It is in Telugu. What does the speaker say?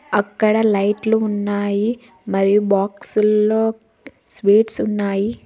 అక్కడ లైట్లు ఉన్నాయి మరియు బాక్సుల్లో స్వీట్స్ ఉన్నాయి.